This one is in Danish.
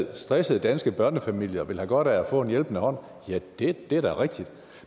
af at stressede danske børnefamilier vil have godt af at få en hjælpende hånd ja det er da rigtigt